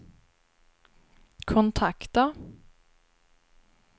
kontakta